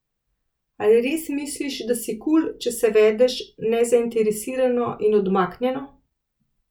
Ali res misliš, da si kul, če se vedeš nezainteresirano in odmaknjeno?